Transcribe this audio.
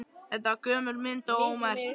Þetta var gömul mynd og ómerkt.